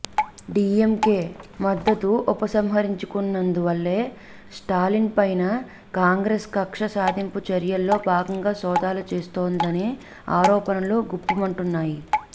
డిఎంకె మద్దతు ఉపసంహరించినందువల్లే స్టాలిన్ పైన కాంగ్రెసు కక్ష సాధింపు చర్యల్లో భాగంగా సోదాలు చేయిస్తోందనే ఆరోపణలు గుప్పుమంటున్నాయి